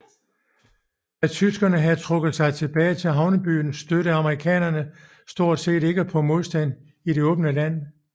Da tyskerne havde trukket sig tilbage til havnebyerne stødte amerikanerne stort set ikke på modstand i det åbne land